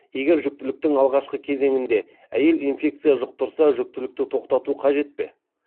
егер жүктіліктің алғашқы кезеңінде әйел инфекция жұқтырса жүктілікті тоқтату қажет пе